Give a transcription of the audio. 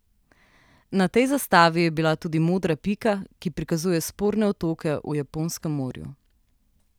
Na tej zastavi je bila tudi modra pika, ki prikazuje sporne otoke v Japonskem morju.